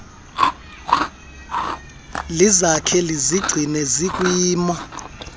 lizakhe lizigcine zikwimo